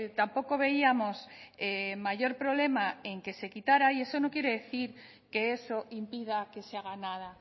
tampoco veíamos mayor problema en que se quitara y eso no quiere decir que eso impida que se haga nada